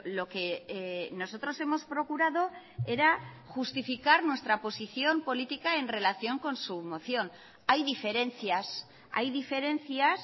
lo que nosotros hemos procurado era justificar nuestra posición política en relación con su moción hay diferencias hay diferencias